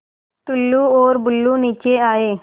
टुल्लु और बुल्लु नीचे आए